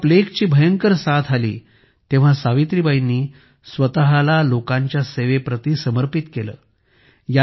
जेव्हा प्लेगची भयंकर साठ आली तेव्हा सावित्रीबाई यांनी स्वतःला लोकांच्या सेवेप्रती समर्पित केले